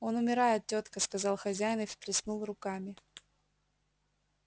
он умирает тётка сказал хозяин и всплеснул руками